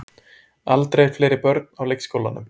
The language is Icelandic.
Aldrei fleiri börn á leikskólum